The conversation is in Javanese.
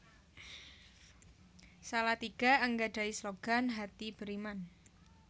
Salatiga anggadhahi slogan Hati Beriman